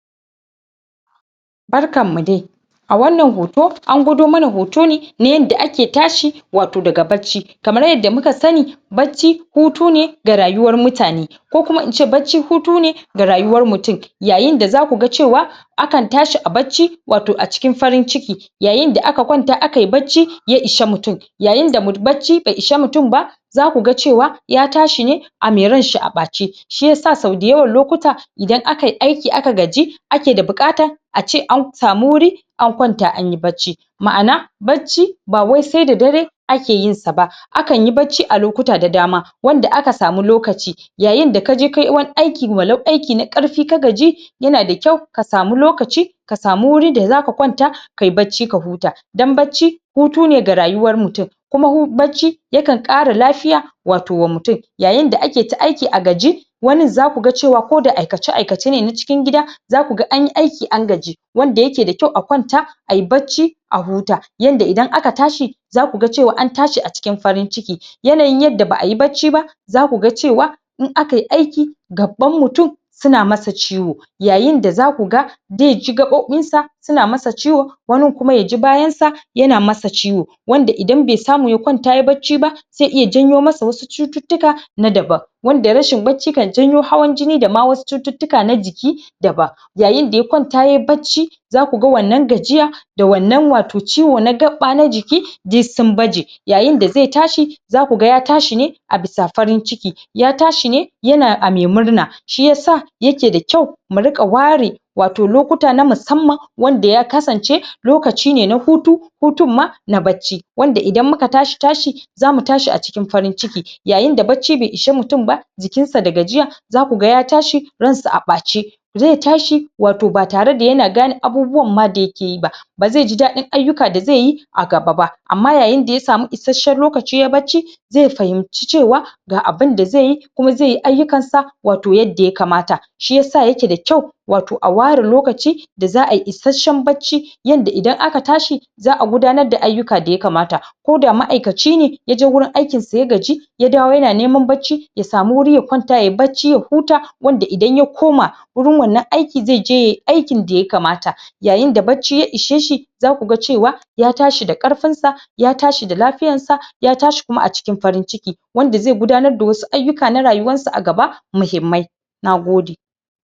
Barkan mu dai! A wannan hoto, an gwado mana hoto ne na yadda ake tashi wato daga bacci. Kamar yadda muka sani bacci hutu ne ga rayuwar mutane ko kuma ince bacci hutu ne ga rayuwar mutum. Yayin da za ku ga cewa akan tashi a bacci wato a cikin farin ciki yayin da aka kwanta aka yi bacci ya ishi mutum. Yayin da bacci bai ishi mutum ba za ku ga cewa ya tashi ne a me ranshi a ɓace. Shi yasa sau da yawan lokuta, idan aka yi aiki aka gaji ake da buƙata ace an samu wurin an kwanta an yi bacci. Ma'ana bacci ba wai sai da dare ake yin sa ba. Akan yi bacci a lokuta da dama wanda aka samu lokaci. Yayin da kaje kayi wani aiki walau aiki na ƙarfi ka gaji ya na da kyau ka samu lokaci, ka samu wuri da za ka kwanta ka yi bacci ka hutu. Don bacci hutu ne ga rayuwar mutum. Kuma hu bacci yakan ƙara lafiya wato wa mutum. Yayin da ake ta aiki a gaji, wanin za ku ga cewa koda aikace-aikace ne na cikin gida za ku ga anyi aiki an gaji, wanda ya ke da kyau a kwanta ayi bacci a huta, yanda idan aka tashi za ku ga cewa an tashi a cikin farin ciki, yanayin yadda ba'a yi bacci ba, za ku ga cewa in aka yi aiki gaɓɓan mutum su na masa ciwo. Yayin da za ku ga dai ji gaɓoɓin sa su na masa ciwo, wanin kuma ya ji bayan sa ya na masa ciwo. Wanda idan be samu ya kwanta yayi bacci ba zai iya janyo masa wasu cututtuka na daban. Wanda rashin bacci kan janyo hawan jini da ma wasu cututtuka na jiki daban. Yayin da ya kwanta yayi bacci za ku ga wannan gajiya da wannan wato ciwo na gaɓɓa na jiki duk sun baje. Yayin da zai tashi, za ku ga ya tashi ne a bisa farin ciki. Ya tashi ne ya na a mai murna, shi yasa ya ke da kyau mu riƙa ware wato lokuta na musamman wanda ya kasance lokaci ne na hutu, hutun ma na bacci, wanda idan muka tashi tashi za mu tashi a cikin farin ciki yayin da farin ciki bai ishi mutum jikin sa da gajiya, za ku ga ya tashi ransa a ɓace. Zai tashi wato ba tare da ya na gane abubuwan ma da ya ke yi ba. Ba zai ji daɗin ayukka da zai yi a gaba ba. Amma yayin da ya samu isasshen lokaci yayi bacci zai fahimci cewa ga abunda zai yi ko zai yi ayukkan sa wato yadda ya kamata. Shi yasa ya ke da kyau, wato a ware lokaci da za'a yi isasshen bacci, yanda idan aka tashi za'a gudanar da ayukka yanda ya kamata. Koda ma'aikaci ne yaje wurin aikinsa ya gaji ya dawo ya na neman bacci ya samu wuri ya kwanta yayi bacci ya huta, wanda idan ya koma wurin wannan aikin zai je yayi aiki yadda ya kamata, yayin da bacci ya ishe shi za ku ga cewa ya tashi da ƙarfinsa, ya tashi da lafiyarsa, ya tashi kuma a cikin farin ciki. Wanda zai gudanar da wasu ayukka na rayuwar sa a gaba muhimmai. Nagode!